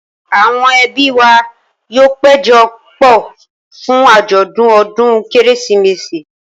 Àwọn ẹbí wa yóò péjọ pọ̀ fún àjọ̀dún ọdún Kérésìmesì.